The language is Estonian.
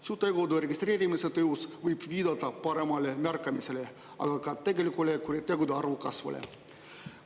Süütegude registreerimise tõus võib viidata paremale märkamisele, aga ka tegelikule kuritegude arvu kasvule.